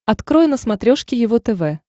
открой на смотрешке его тв